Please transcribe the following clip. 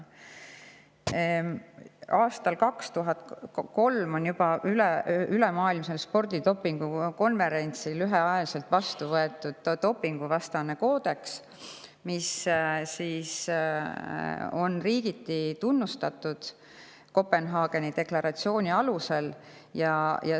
Juba aastal 2003 on ülemaailmsel spordidopingu konverentsil ühehäälselt vastu võetud dopinguvastane koodeks, mida on riigiti tunnustatud Kopenhaageni deklaratsiooni alusel.